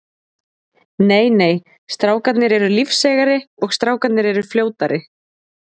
Nei nei, strákarnir eru lífseigari og strákarnir eru fljótari.